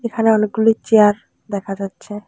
এখানে অনেকগুলি চেয়ার দেখা যাচ্ছে।